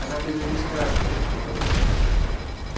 она без регистрации сказал я